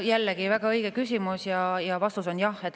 Jällegi väga õige küsimus ja vastus on jah.